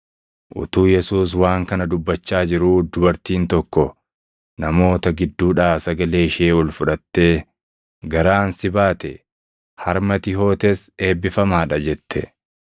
Utuu Yesuus waan kana dubbachaa jiruu, dubartiin tokko namoota gidduudhaa sagalee ishee ol fudhattee, “Garaan si baate, harmi ati hootes eebbifamaa dha” jette.